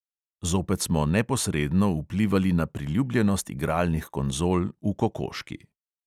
Zopet smo neposredno vplivali na priljubljenost igralnih konzol v kokoški.